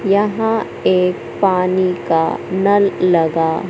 यहां एक पानी का नल लगा--